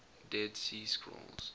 dead sea scrolls